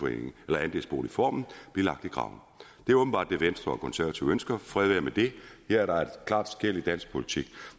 vil andelsboligformen blive lagt i graven det er åbenbart det venstre og konservative ønsker fred være med det her er der et klart skel i dansk politik